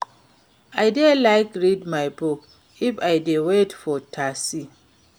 I dey like read my book if I dey wait for taxi.